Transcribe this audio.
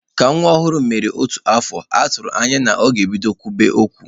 Ka nwa ọhụrụ mere otu afọ, atụrụ anya na o bidola kwube okwu.